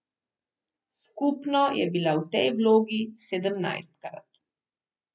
Skupno je bila v tej vlogi sedemnajstkrat.